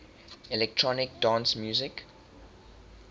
electronic dance music